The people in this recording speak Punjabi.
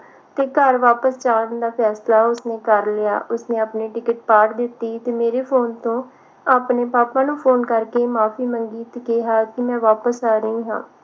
ਕਿ ਘਰ ਵਾਪਸ ਜਾਣ ਦਾ ਫੈਸਲਾ ਉਸਨੇ ਕਰ ਲਿਆ ਉਸਨੇ ਆਪਣੀ ticket ਫਾੜ ਦਿੱਤੀ ਤੇ ਮੇਰੇ phone ਤੋਂ ਆਪਣੇ ਪਾਪਾ ਨੂੰ ਕਰਕੇ ਮਾਫੀ ਮੰਗੀ ਤੇ ਕਿਹਾ ਕਿ ਮੈਂ ਵਾਪਸ ਆ ਰਹੀ ਹਾ